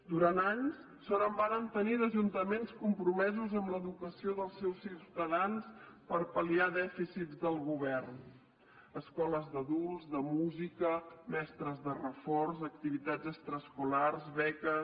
durant anys sort en vàrem tenir d’ajuntaments compromesos amb l’educació dels seus ciutadans per pal·liar dèficits del govern escoles d’adults de música mestres de reforç activitats extraescolars beques